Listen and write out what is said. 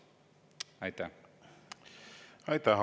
Aitäh!